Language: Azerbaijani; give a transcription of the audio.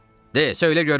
De, söylə görüm.